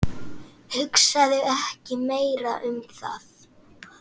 Hugsaðu ekki meira um það.